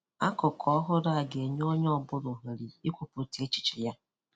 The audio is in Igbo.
Akụkụ ọhụrụ a ga-enye onye ọ bụla ohere ikwupụta echiche ya.